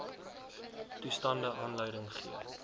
toestande aanleiding gee